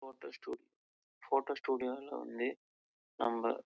photo studio லே வந்து